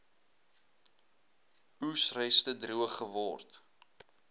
oesreste droog geword